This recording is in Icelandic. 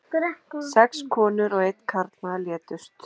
Sex konur og einn karlmaður létust